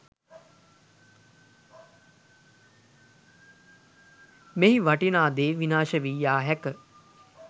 මෙහි වටිනා දේ විනාශ වී යා හැක